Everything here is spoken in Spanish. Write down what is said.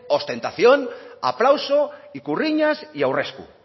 ostentación aplauso ikurriñas y aurresku